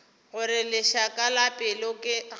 gore lešaka la pelo ga